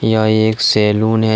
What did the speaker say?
यह एक सैलून है।